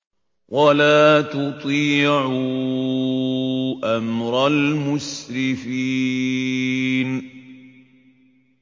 وَلَا تُطِيعُوا أَمْرَ الْمُسْرِفِينَ